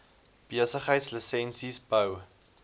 besigheids lisensies bou